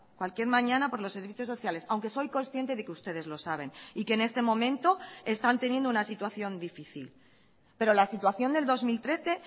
cualquier mañana por los servicios sociales aunque soy consciente de que ustedes lo saben y que en este momento están teniendo una situación difícil pero la situación del dos mil trece